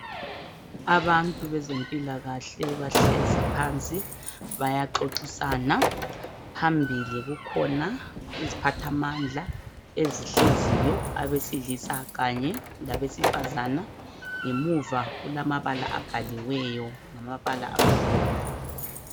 Abantu bezempilakahle bahlezi phansi bayaxoxisana phambili kukhona iziphathamandla ezihleziyo abesilisa labesifazane ngemuva kulamabala abhaliweyo ngamabala amhlophe